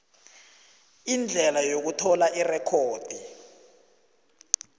indlela yokuthola irekhodi